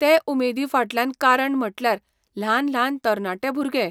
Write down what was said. ते उमेदी फाटल्यान कारण म्हटल्यार ल्हान ल्हान तरणाटे भुरगे